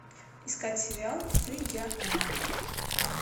искать сериал ты я она